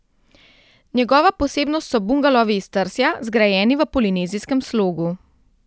Njegova posebnost so bungalovi iz trsja, zgrajeni v polinezijskem slogu.